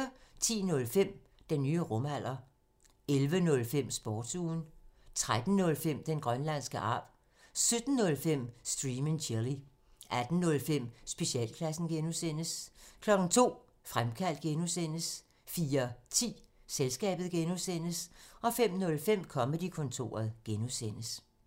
10:05: Den nye rumalder 11:05: Sportsugen 13:05: Den grønlandske arv 17:05: Stream and chill 18:05: Specialklassen (G) 02:00: Fremkaldt (G) 04:10: Selskabet (G) 05:05: Comedy-kontoret (G)